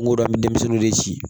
N go an be denmisɛnninw de ci